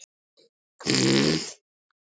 Gerður og Daníel.